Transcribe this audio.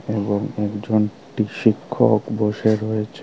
এবং একজন টি শিক্ষক বসে রয়েছে।